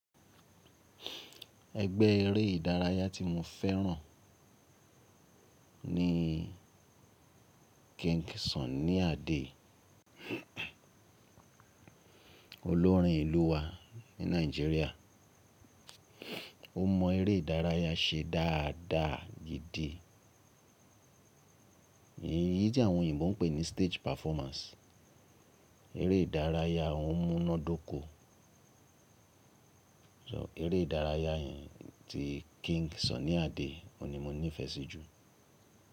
Ẹgbẹ́ eré ìdárayá tí mo fẹ́ràn ni King Sunny Adé. Olórin ìlú wa ní Nàìjíríà, ó mọ eré ìdárayá ṣe dáadáa gidi. Eyí tí àwọn òyìnbó ń pè ní stage performance. Eré ìdárayá won ó múnádóko. Eré ìdárayá yẹn ti King Sunny Adé óún ni mo nífẹ̀ẹ́ sí jù.